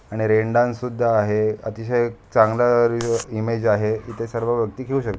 आणि rain dance सुद्धा आहे अतिशय चांगलं रि इमेज आहे इथे सर्व व्यक्ति खेळू श --